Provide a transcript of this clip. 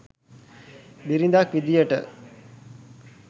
බිරිඳක් විදියට.